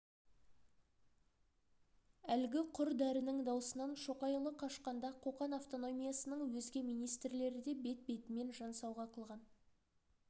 әлгі құр дәрінің даусынан шоқайұлы қашқанда қоқан автономиясының өзге министрлері де бет-бетімен жан сауға қылған